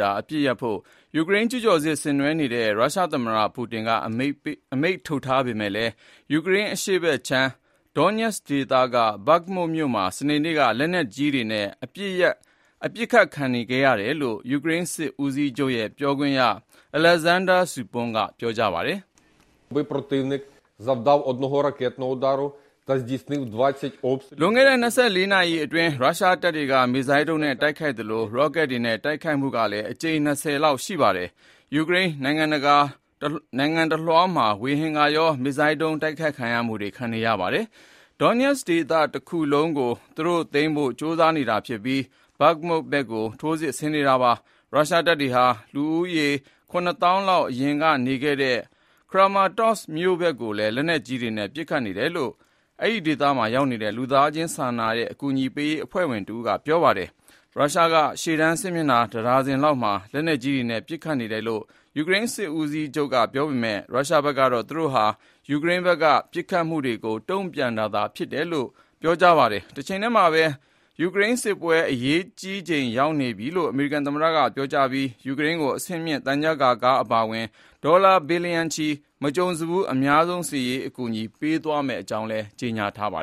ြာ အပစ်ရပ်ဖို့ ယူကရိန်းကျူးကျော်စစ် ဆင်နွှဲနေတဲ့ ရုရှားသမ္မတ Vladimir Putin က အမိန့်ထုတ်ထားပေမယ့်လည်း ယူကရိန်းအရှေ့ပိုင်း Donetsk ဒွန်းညက်ဒေသက Bakhmut ဘတ်ခ်မွတ်မြို့မှာ စနေနေ့က လက်နက်ကြီးတွေနဲ့ အပစ်ခတ် ခံခဲ့ရတယ်လို့ ယူကရိန်းစစ်ဦးစီးချုပ်ရဲ့ ပြောခွင့်ရ Oleksandr Shtupun အလဲ့ဇန်းဒါးစူပွန်းက ပြောပါတယ်။ လွန်ခဲ့တဲ့ ၂၄ နာရီအတင်း ရုရှားတပ်တွေက မစ်ဇိုင်းဒုံးနဲ့ တိုက်ခိုက်သလို ရော့ကက်တွေနဲ့ တိုက်ခိုက်မှုကလည်း အကြိမ် ၂၀ လောက် ရှိပါတယ်။ ယူကရိန်းနိုင်ငံတလွှားမှာ ဝေဟင်ကရော မစ်ဇိုင်းဒုံး တိုက်ခိုက်မှုတွေ ခံနေရပါတယ်။ Donetsk ဒေသတခုလုံးကို သူတို့ သိမ်းဖို့ ကြိုးစားနေတာဖြစ်ပြီး Bakhmut ဘက်ကို ထိုးစစ်ဆင်နေတာပါ။ ရုရှားတပ်တွေဟာ လူဦးရေ ၇ သောင်းလောက် အရင်က နေခဲ့တဲ့ ခရာမာ-တော့စ် Kramatorsk မြို့ဘက်ကိုလည်း လက်နက်ကြီးတွေနဲ့ ပစ်ခတ်နေတယ်လို့ အဲဒီဒေသမှာ ရောက်နေတဲ့ လူသားစာနာမှု အကူညီပေးရေးအဖွဲ့ဝင်တဦးက ပြောပါတယ်။ ရုရှားက ရှေ့တန်းစစ်မျက်နှာ တဒါဇင်လောက်မှာ လက်နက်ကြီးတွေနဲ့ ပစ်ခတ်နေတယ်လို့ ယူကရိန်းစစ်ဦးစီးချုပ်က ပြောပေမယ့် ရုရှားကတော့ သူတို့ဟာ ယူကရိန်းဘက်က ပစ်ခတ်မှုကို တုန့်ပြန်တာသာဖြစ်ကြောင်း ပြောပါတယ်။ တချိန်တည်းမှာပဲ ယူကရိန်းစစ်ပွဲ အရေးကြီးချိန် ရောက်နေပြီလို့ အမေရိကန်သမ္မတက ပြောဆိုပြီး ယူကရိန်းကို အဆင့်မြင့် သံချပ်ကာကား အပါအဝင် ဒေါ်လာဘီလျံချီ မကြုံစဖူး အများဆုံး စစ်ရေးအကူအညီတွေ ပေးသွားမယ့်အကြောင်း ကြေညာထားတာပါ